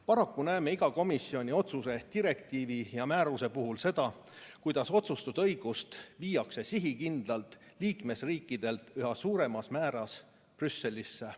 Paraku näeme iga komisjoni otsuse, direktiivi ja määruse puhul seda, kuidas otsustusõigust viiakse sihikindlalt liikmesriikidelt üha suuremal määral Brüsselisse.